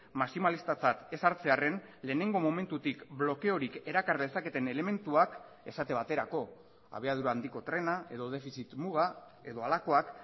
maximalistatzat ez hartzearren lehenengo momentutik blokeorik erakar dezaketen elementuak esate baterako abiadura handiko trena edo defizit muga edo halakoak